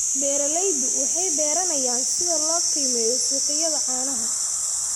Beeraleydu waxay baranayaan sida loo qiimeeyo suuqyada caanaha.